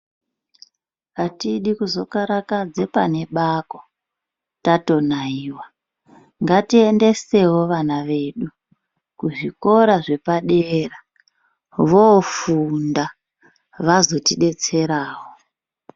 Atidi kuzo karakadze pane bako tato nayiwa ngati endesewo ana edu ku zvikora zvepa dera vo funda vazoti detserawo.